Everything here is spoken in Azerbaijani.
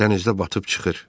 Dənizdə batıb çıxır.